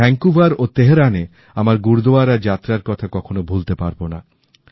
আমি ভ্যানকুভার ও তেহরানে আমার গুরুদুয়ারা যাত্রার কথা কখনো ভুলতে পারবো না